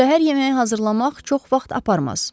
Səhər yeməyi hazırlamaq çox vaxt aparmaz.